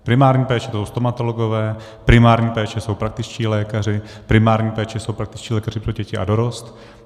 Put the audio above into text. Primární péče, to jsou stomatologové, primární péče jsou praktičtí lékaři, primární péče jsou praktičtí lékaři pro děti a dorost.